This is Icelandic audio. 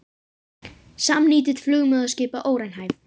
Samnýting flugmóðurskipa óraunhæf